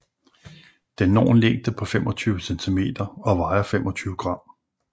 Den når en længde på 25 cm og vejer 25 g